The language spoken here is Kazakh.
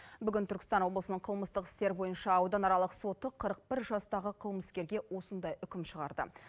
бүгін түркістан облысының қылмыстық істер бойынша ауданаралық соты қырық бір жастағы қылмыскерге осындай үкім шығарды